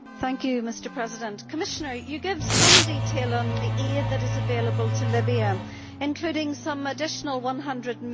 Mr President, the Commissioner gave some detail on the aid that is available to Libya, including some additional EUR 100 million.